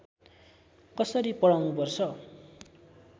कसरी पढाउनुपर्छ